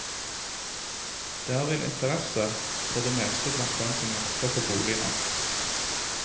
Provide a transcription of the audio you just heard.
Det er vel interesse for det meste blant dem som jakter på bolig nå.